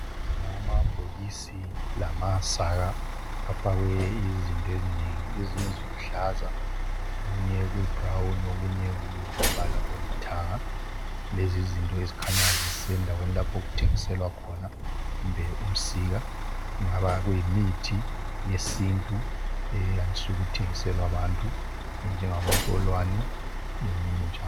amabhokisi lamasaka afakwe izinto ezinengi ezinye ziluhlaza okunye kuyi brown okunye kungumbala olithanga lezizinto ezikhanya zisendaweni lapho okuthengiselwa khona kumbe umsika kungaba kuyimithi eyesintu eyandiswe ukuthengiselwa abantu enjengabontolwane leminye njalo